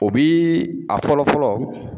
O bi a fɔlɔ fɔlɔ